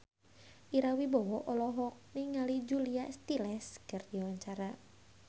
Ira Wibowo olohok ningali Julia Stiles keur diwawancara